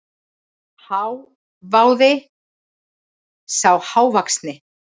hváði sá hávaxni.